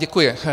Děkuji.